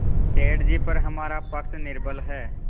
सेठ जीपर हमारा पक्ष निर्बल है